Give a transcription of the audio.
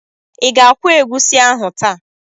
Ị ga-akwọ egusi ahụ taa?